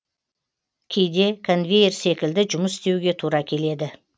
кейде конвейер секілді жұмыс істеуге тура келеді